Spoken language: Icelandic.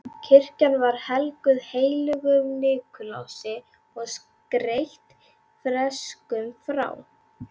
Kirkjan var helguð heilögum Nikulási og skreytt freskum frá